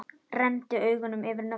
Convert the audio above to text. Renndi augunum yfir nöfnin.